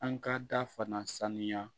An ka da fana sanuya